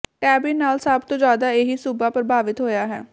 ਟੇਂਬਿਨ ਨਾਲ ਸਭ ਤੋਂ ਜ਼ਿਆਦਾ ਇਹੀ ਸੂਬਾ ਪ੍ਰਭਾਵਤ ਹੋਇਆ ਹੈ